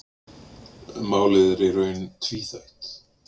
Málið er í raun tvíþætt.